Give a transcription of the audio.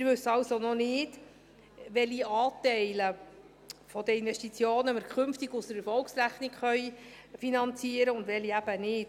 Wir wissen also noch nicht, welche Anteile der Investitionen wir künftig aus der Erfolgsrechnung finanzieren können und welche eben nicht.